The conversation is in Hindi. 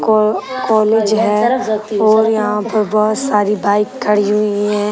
को कॉलेज है और यहाँ पे बहुत साड़ी बाइक खड़ी हुई है।